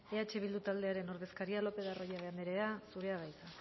eh bildu taldearen ordezkaria lopez de arroyabe anderea zurea da hitza